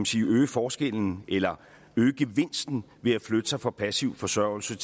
sige at øge forskellen eller gevinsten ved at flytte sig fra passiv forsørgelse